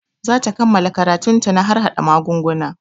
Za ta kammala karatun ta na harhaɗa magunguna